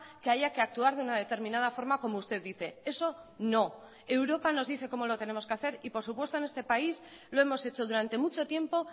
que haya que actuar de una determinada forma como usted dice eso no europa nos dice cómo lo tenemos que hacer y por supuesto en este país lo hemos hecho durante mucho tiempo